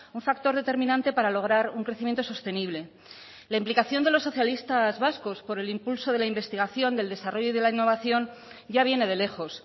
un factor determinante para lograr un crecimiento sostenible la implicación de los socialistas vascos por el impulso de la investigación del desarrollo y de la innovación ya viene de lejos